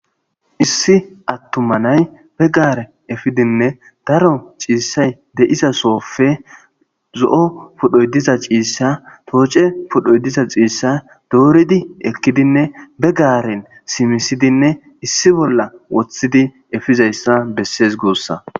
issi attuma nay begarn simisdinne efeese.daro cishay de"iza sope zo'opydhoy diza cisha toce pudho doridi ekidi be garen simisidine issi bolla wothidi efes gussa